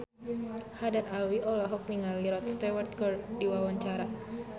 Haddad Alwi olohok ningali Rod Stewart keur diwawancara